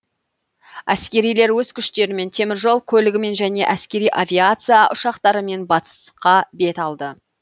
әскерилер өз күштерімен теміржол көлігімен және әскери авиация ұшақтарымен батысқа бет алды